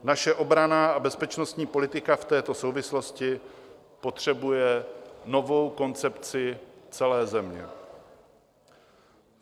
Naše obranná a bezpečnostní politika v této souvislosti potřebuje novou koncepci celé země.